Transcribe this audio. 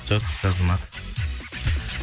жоқ жазылмады